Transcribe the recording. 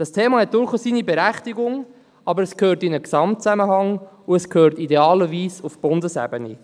Das Thema hat durchaus seine Berechtigung, aber es gehört in einen Gesamtzusammenhang, und idealerweise gehört es auf die Bundesebene.